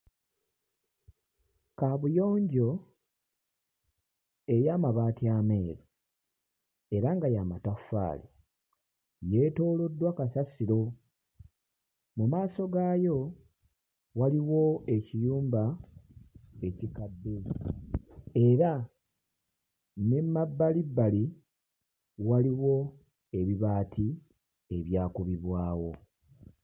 Kabuyonjo ey'amabaati ameeru era nga ya mataffaali yeetooloddwa kasasiro, mu maaso gaayo waliwo ekiyumba ekikadde era ne mabbalibbali waliwo ebibaati ebyakubibwawo.